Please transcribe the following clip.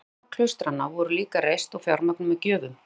Mörg hinna klaustranna voru líka reist og fjármögnuð með gjöfum.